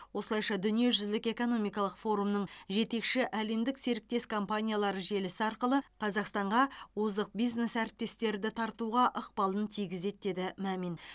осылайша дүниежүзілік экономикалық форумының жетекші әлемдік серіктес компаниялары желісі арқылы қазақстанға озық бизнес әріптестерді тартуға ықпалын тигізеді деді мамин